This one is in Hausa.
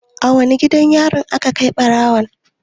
Wane gidan yarin aka kai ɓarawon?